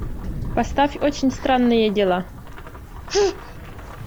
поставь очень странные дела